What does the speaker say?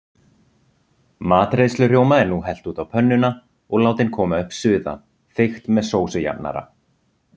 Matreiðslurjóma er nú hellt út á pönnuna og látin koma upp suða, þykkt með sósujafnara.